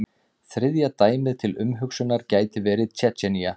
Þriðja dæmið til umhugsunar gæti verið Tsjetsjenía.